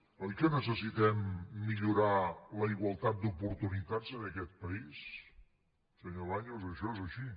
oi que necessitem millorar la igualtat d’oportunitats en aquest país senyor baños això és així